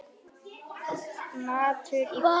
Matur í boði.